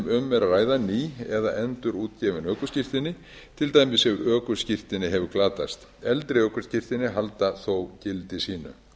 um er að ræða ný eða endurútgefin ökuskírteini til dæmis ef ökuskírteini hefur glatast eldri ökuskírteini halda þó gildi sínu